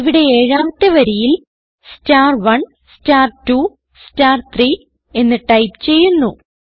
ഇവിടെ ഏഴാമത്തെ വരിയിൽ star1 star2 star3 എന്ന് ടൈപ്പ് ചെയ്യുന്നു